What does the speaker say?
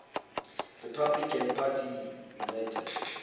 republican party united